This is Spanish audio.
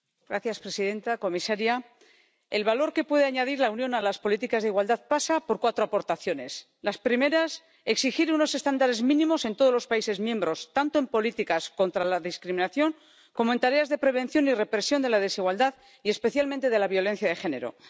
Señora presidenta, señora comisaria, el valor que puede añadir la Unión a las políticas de igualdad pasa por cuatro aportaciones. La primera, exigir unos estándares mínimos en todos los países miembros tanto en políticas contra la discriminación como en tareas de prevención y represión de la desigualdad y especialmente de la violencia de género.